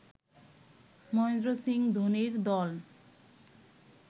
মহেন্দ্র সিং ধোনির দল